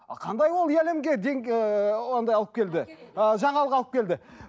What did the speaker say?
а қандай ол әлемге ііі андай алып келді ыыы жаңалық алып келді